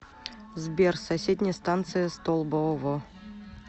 сбер соседняя станция столбово